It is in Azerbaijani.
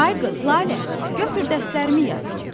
Ay qız Lalə, götür dərslərimi yaz.